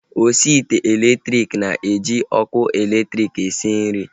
Osi ite elektriki na-eji ọkụ elektriki esi nri